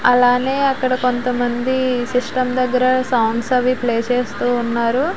అలాగే అక్కడ కొంతమంది సిస్టమ్ దగ్గర సాంగ్స్ అవి ప్లే చేస్తూ ఉన్నారు.